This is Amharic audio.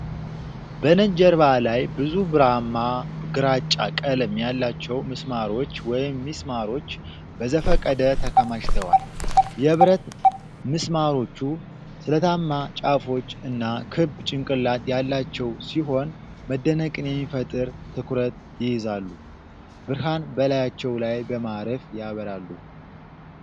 በነጭ ጀርባ ላይ ብዙ ብርማ-ግራጫ ቀለም ያላቸው ምስማሮች (ሚስማሮች) በዘፈቀደ ተከማችተዋል። የብረት ምስማሮቹ ስለታም ጫፎች እና ክብ ጭንቅላት ያላቸው ሲሆን መደነቅን የሚፈጥር ትኩረት ይይዛሉ። ብርሃን በላያቸው ላይ በማረፍ ያበራሉ።